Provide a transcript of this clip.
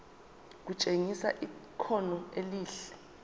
kutshengisa ikhono elihle